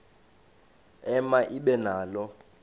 ema ibe nalo